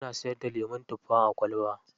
Suna siyarda lemun tuffa a kwalba.